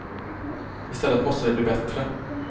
I stället måste det bli bättre.